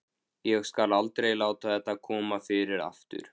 Ég skal aldrei láta þetta koma fyrir aftur.